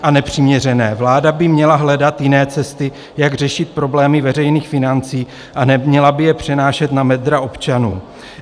Vláda by měla hledat jiné cesty, jak řešit problémy veřejných financí, a neměla by je přenášet na bedra občanů.